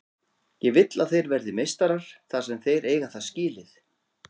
Ég vill að þeir verði meistarar þar sem þeir eiga það skilið.